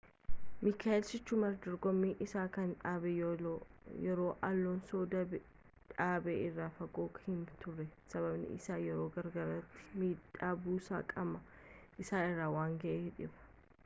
michael schumacher dorgommii isaa kan dhaabe yeroo alonson dhaabe irraa fagoo hin turre, sababiin isaas yeroo garaagaraatti miidhaa buusaa qaama isaa irra waan ga’eefiidha